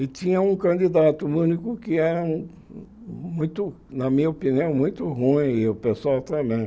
E tinha um candidato único que era muito, na minha opinião, muito ruim e o pessoal também.